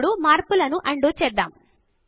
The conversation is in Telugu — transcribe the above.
ఇప్పుడు మార్పులను అన్ డూ చేద్దాము